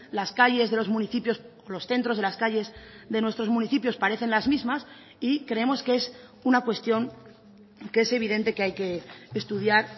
las calles de los municipios los centros de las calles de nuestros municipios parecen las mismas y creemos que es una cuestión que es evidente que hay que estudiar